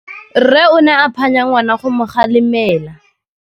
Rre o ne a phanya ngwana go mo galemela.